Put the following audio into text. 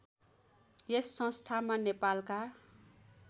यस संस्थामा नेपालका